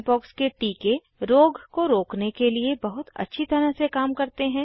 chickenpox के टीके रोग को रोकने के लिए बहुत अच्छी तरह से काम करते हैं